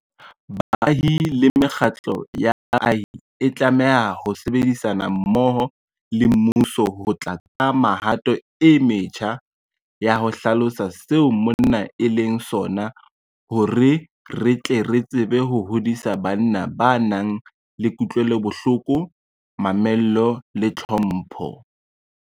Baahi le mekgatlo ya baahi e tlameha ho sebedisana mmoho le mmuso ho tla ka mehato e metjha ya ho hlalosa seo monna e leng sona hore re tle re tsebe ho hodisa banna ba nang le kutlwelobohloko, mamello le tlhompho.